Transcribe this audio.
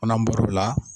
Ko n'an bɔr'o la